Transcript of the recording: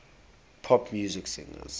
pop music singers